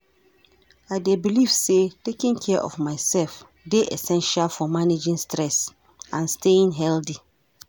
I dey believe say taking care of myself dey essential for managing stress and staying healthy.